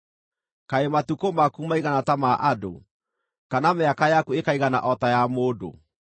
Kaĩ matukũ maku maigana ta ma andũ, kana mĩaka yaku ĩkaigana o ta ya mũndũ,